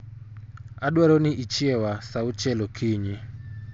Adwaro ni ichieya saa auchiel okinyi